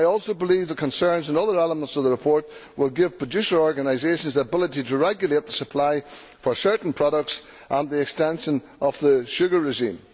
I also believe the concerns and other elements in the report which will give producer organisations the ability to regulate the supply for certain products and the extension of the sugar regime.